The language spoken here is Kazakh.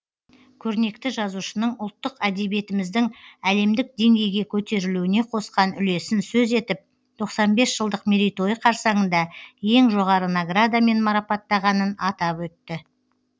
көрнекті жазушының ұлттық әдебиетіміздің әлемдік деңгейге көтерілуіне қосқан үлесін сөз етіп тоқсан бес жылдық мерейтойы қарсаңында ең жоғары наградамен марапаттағанын атап өтті